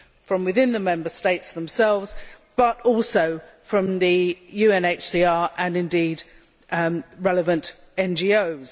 from within the Member States themselves but also from the UNHCR and, indeed, relevant NGOs.